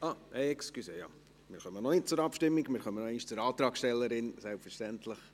– Entschuldigen Sie, wir kommen noch nicht zur Abstimmung, denn die Antragstellerin wünscht noch einmal das Wort.